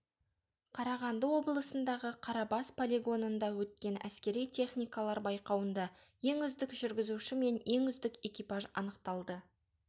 қарағанды облысындағы қарабас полигонында өткен әскери техникалар байқауында ең үздік жүргізуші мен ең үздік экипаж анықталды